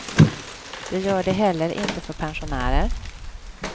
Det gör det heller inte för pensionärer.